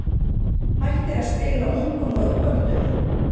hættir að spila ungum og uppöldum?